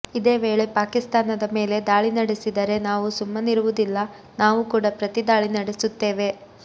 ಇದೇ ವೇಳೆ ಪಾಕಿಸ್ತಾನದ ಮೇಲೆ ದಾಳಿ ನಡೆಸಿದರೆ ನಾವೂ ಸುಮ್ಮನಿರುವುದಿಲ್ಲ ನಾವೂ ಕೂಡ ಪ್ರತಿದಾಳಿ ನಡೆಸುತ್ತೇವೆ